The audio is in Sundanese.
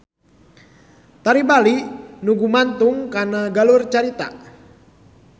Tari Bali teu gumantung kana galur cerita.